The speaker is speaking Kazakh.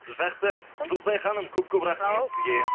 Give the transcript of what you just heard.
жақсы жұлдызай ханым көп көп рахмет сізге